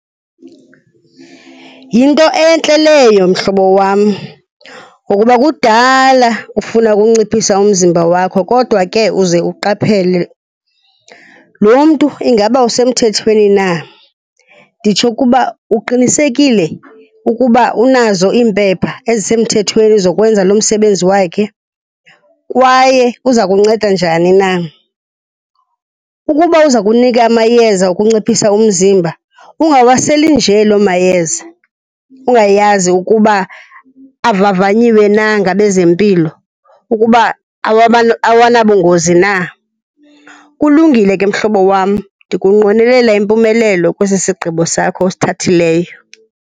Yinto entle leyo mhlobo wam ngokuba kudala ufuna ukunciphisa umzimba wakho kodwa ke uze uqaphele. Lo mntu, ingaba usemthethweni na? Nditsho ukuba, uqinisekile ukuba unazo iimpepha ezisemthethweni zokwenza lo msebenzi wakhe, kwaye uza kunceda njani na? Ukuba uza kunika amayeza okunciphisa umzimba, ungawaseli nje loo mayeza ungayazi ukuba avavanyiwe na ngabezempilo, ukuba awanabungozi na. Kulungile ke mhlobo wam, ndikunqwenelela impumelelo kwesi sigqibo sakho usithathileyo.